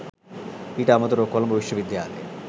ඊට අමතරව කොළඹ විශ්වවිද්‍යාලය